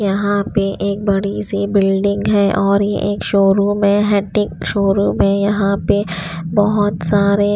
यहाँ पे एक बड़ी सी बिल्डिंग है और ये एक शोरूम है हेटिंग शोरूम है यहाँ पे बहुत सारे--